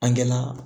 An gana